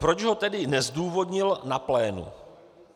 Proč ho tedy nezdůvodnil na plénu?